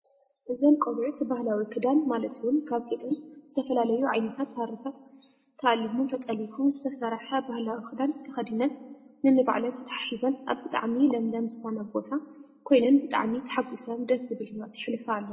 እዘን ቆልዑት ባህላዊ ክዳን ማለት እውን ካብ ጡጥን ዝተፈላለዩ ዓይነት ሃሪታትን ተኣሊሙን ተጠሊፉን ዝተሰርሐ ባህላዊ ክዳን ተኸዲነን ነኒባዕለን ተተሓሒዘን ኣብ ብጣዕሚ ለምለም ዝኾነ ቦታ ኮይነን ብጣዕሚ ተሓጊሰን ደስ ዝብል ሂወት የሕልፋ ኣለዋ፡፡